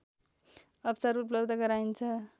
अवसर उपलब्ध गराइन्छ